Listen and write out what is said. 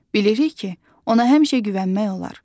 Bilirik ki, ona həmişə güvənmək olar.